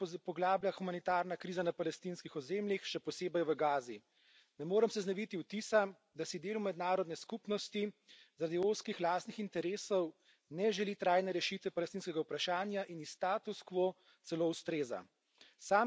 Hkrati se poglablja humanitarna kriza na palestinskih ozemljih, še posebej v Gazi. Ne morem se znebiti vtisa, da si del mednarodne skupnosti zaradi ozkih lastnih interesov ne želi trajne rešitve palestinskega vprašanja in ji status quo celo ustreza.